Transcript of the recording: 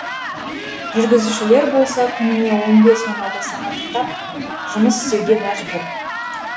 жүргізушілер болса күніне он бес он алты сағаттап жұмыс істеуге мәжбүр